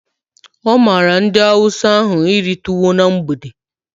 Ọ mara ndị hausa ahụ iri tuwo na mgbede